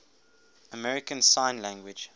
american sign language